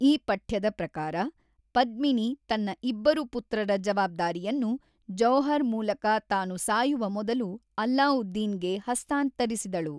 ಈ ಪಠ್ಯದ ಪ್ರಕಾರ, ಪದ್ಮಿನಿ ತನ್ನ ಇಬ್ಬರು ಪುತ್ರರ ಜವಾಬ್ದಾರಿಯನ್ನು ಜೌಹರ್ ಮೂಲಕ ತಾನು ಸಾಯುವ ಮೊದಲು ಅಲ್ಲಾವುದ್ದೀನ್ ಗೆ ಹಸ್ತಾಂತರಿಸಿದಳು.